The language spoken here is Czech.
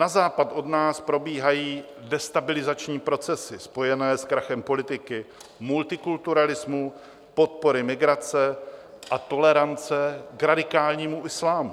Na západ od nás probíhají destabilizační procesy spojené s krachem politiky, multikulturalismu, podpory migrace a tolerance k radikálnímu islámu.